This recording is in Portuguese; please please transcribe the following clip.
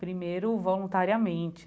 Primeiro, voluntariamente.